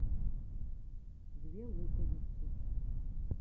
две луковицы